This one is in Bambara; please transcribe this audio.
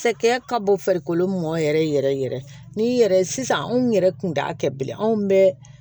Sɛkɛ ka bɔ farikolo mɔ yɛrɛ yɛrɛ yɛrɛ ni yɛrɛ sisan anw yɛrɛ kun t'a kɛ bilen anw bɛɛ